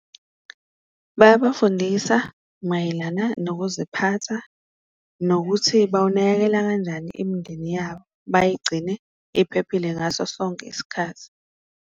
Bayabafundisa mayelana nokuziphatha nokuthi bawunakekela kanjani imindeni yabo, bayigcine iphephile ngaso sonke isikhathi.